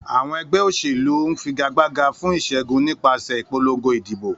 Àwọn ẹgbẹ́ òṣèlú ń figagbága fún ìṣẹ́gun nípasẹ̀ ìpolongo ìdìbò.